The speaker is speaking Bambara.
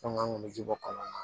Fɛn kun bɛ ji bɔ kɔlɔn na